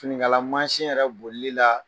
Finikala yɛrɛ bolili la